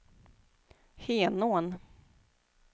Henån